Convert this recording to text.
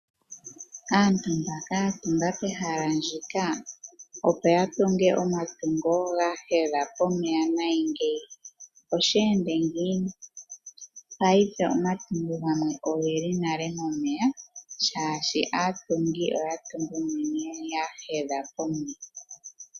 Aantu mbaka ya tunga pehala ndika opo ya tunge omatungo gawo ga hedha pomeya nayi ngeyi, osha ende ngiini? Paife omatungo gamwe oge li nale momeya, shaashi aatungi oya tunga unene ya hedha pomeya.